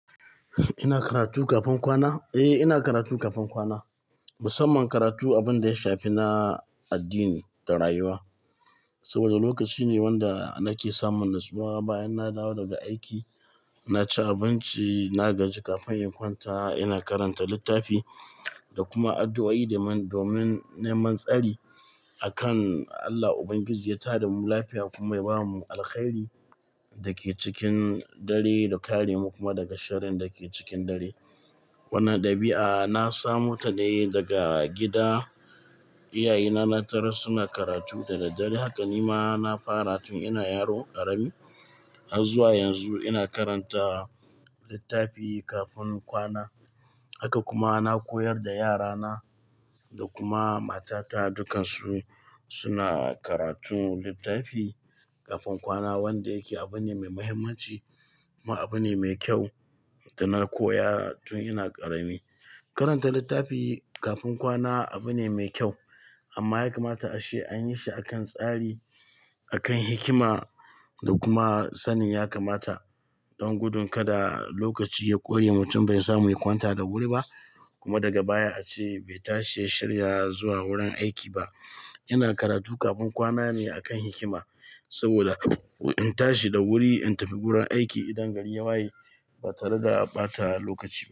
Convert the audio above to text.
Ina karatu kafin kwana? Eh, ina karatu kafin kwana. Musamman karatu abin da ya shafi na addini da rayuwa. Saboda lokaci ne wanda nake samun natsuwa bayan na dawo daga aiki. Na ci abinci, na gaji kafin in kwanta. Ina karanta littafi da kuma addu'o'i domin neman tsari. Akan Allah Ubangiji ya tada mu lafiya kuma ya bamu alkhairi. Dake cikin dare da kare mu kuma daga sharin dake cikin dare. Wani dabi'a na samu ta ne daga gida. Iyaye na na tarar suna karatu da daddare haka ni ma na fara tun ina yaro ƙarami. Har zuwa yanzu ina karanta littafi kafin kwana. Haka kuma na koyar da yarana da kuma matata. Dukansu suna karantun littafi kafin kwana wanda yake abu ne me muhimmanci, kuma abu ne me kyau da na koya tun ina ƙarami. Karanta littafi kafin kwana abu ne mai kyau amma ya kamata ace anyi shi a kan tsari, a kan hikima da kuma sanin. Ya kamata don gudun kada lokaci ya ƙure mutum bai samu ya kwanta da wuri ba. Kuma daga baya ace bai tashi ya shirya zuwa wurin aiki ba. Ina karatu kafin kwana ne a kan hikima saboda in tashi da wuri in tafi wurin aiki idan gari ya waye, ba tare da ɓata lokaci ba.